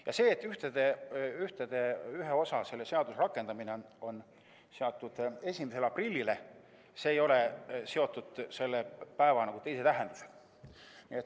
Ja see, et selle seaduse ühe osa rakendamine on seatud 1. aprillile, ei ole seotud selle päeva teise tähendusega.